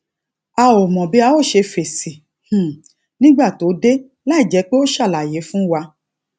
a ò mọ bi a o se fesi um nígbà tó dé láìjé pé ó ṣàlàyé fún wa